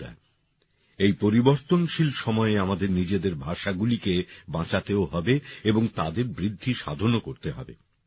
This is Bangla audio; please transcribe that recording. বন্ধুরা এই পরিবর্তনশীল সময়ে আমাদের নিজেদের ভাষাগুলিকে বাঁচাতেও হবে এবং তাদের বৃদ্ধিসাধনও করতে হবে